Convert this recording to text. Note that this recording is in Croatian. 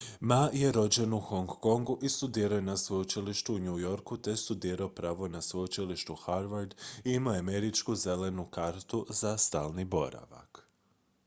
"ma je rođen u hong kongu i studirao je na sveučilištu u new yorku te je studirao pravo na sveučilištu harvard i imao je američku "zelenu kartu" za stalni boravak.